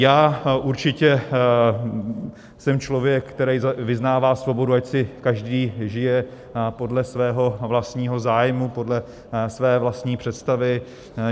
Já určitě jsem člověk, který vyznává svobodu, ať si každý žije podle svého vlastního zájmu, podle své vlastní představy.